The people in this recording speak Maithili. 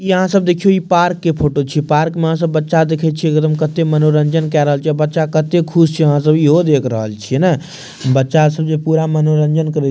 इ यहां सब देखियों इ पार्क के फोटो छीये पार्क में आहां सब बच्चा के देखे छीये कते मनोरंजन के रहल छै बच्चा कते खुश छै आहां सब इहो देख रहल छीये ने बच्चा सब जे पूरा मनोरंजन करे --